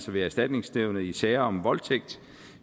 ved erstatningsnævnet i sager om voldtægt